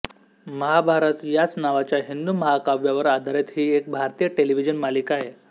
महाभारत याच नावाच्या हिंदू महाकाव्यावर आधारित ही एक भारतीय टेलिव्हिजन मालिका आहे